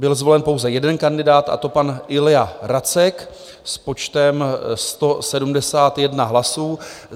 Byl zvolen pouze jeden kandidát, a to pan Ilja Racek s počtem 171 hlasů.